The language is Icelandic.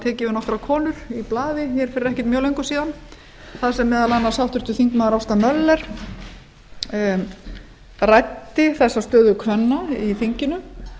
tekið við nokkrar konur í blaði hér fyrir ekkert mjög löngu síðan þar sem meðal annars háttvirtur þingmaður ásta möller ræddi þessa stöðu kvenna í þinginu